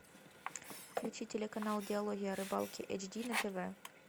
включи телеканал диалоги о рыбалке эйч ди на тв